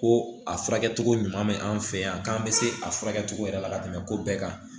Ko a furakɛcogo ɲuman bɛ an fɛ yan k'an bɛ se a furakɛ cogo yɛrɛ la ka tɛmɛ ko bɛɛ kan